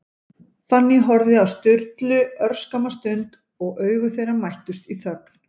Fanný horfði á Sturlu örskamma stund, og augu þeirra mættust í þögn.